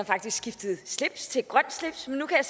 faktisk skiftede slips til et grønt slips men nu kan